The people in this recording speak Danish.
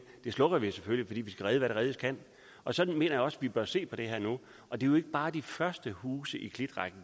slukker den selvfølgelig fordi vi skal redde hvad reddes kan og sådan mener jeg også vi nu bør se på det her og det er jo ikke bare de første huse i klitrækken